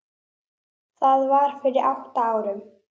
Það var fyrir átta árum